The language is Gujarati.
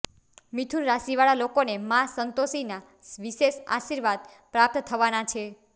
મિથુન રાશી વાળા લોકોને માં સંતોષીના વિશેષ આશીર્વાદ પ્રાપ્ત થવાના છે